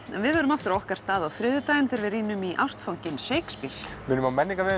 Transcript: en við verðum aftur á okkar stað á þriðjudaginn þegar við rýnum í ástfanginn Shakespeare við minnum á